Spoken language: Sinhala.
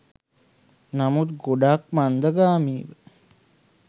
නමුත් ගොඩක් මන්දගාමීව.